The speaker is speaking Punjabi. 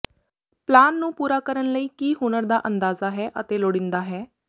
ਪਲਾਨ ਨੂੰ ਪੂਰਾ ਕਰਨ ਲਈ ਕੀ ਹੁਨਰ ਦਾ ਅੰਦਾਜ਼ਾ ਹੈ ਅਤੇ ਲੋੜੀਂਦਾ ਹੈ